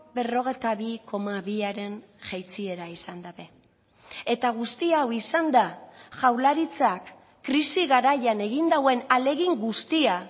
berrogeita bi koma biaren jaitsiera izan dute eta guzti hau izan da jaurlaritzak krisi garaian egin duen ahalegin guztia